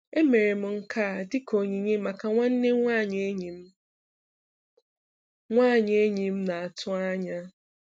Emere m nke a dịka onyinye maka nwanne nwanyị enyi m nwanyị enyi m na-atụ anya.